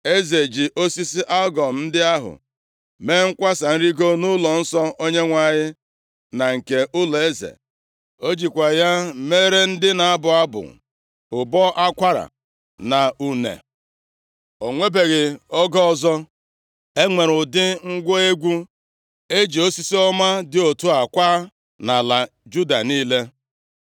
Eze ji osisi algụm ndị ahụ mee nkwasa nrigo nʼụlọnsọ Onyenwe anyị, na nke ụlọeze. O jikwa ya meere ndị na-abụ abụ ụbọ akwara na une. O nwebeghị oge ọzọ e nwere ụdị ngwa egwu e ji osisi ọma dị otu a kwaa nʼala Juda niile.